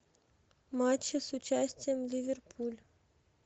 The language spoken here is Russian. матчи с участием ливерпуль